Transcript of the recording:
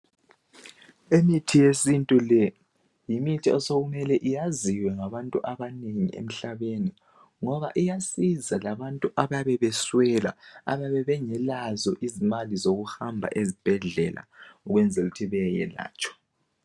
Imithi yesintu le yimithi osokumele iyaziwe ngabathu abanengi emhlabeni, ngoba iyasiza ngabantu ababe beswela, ababe bengelazo izimali zokuhamba esibhedlela ukwenzela ukuthi bayelatshwa.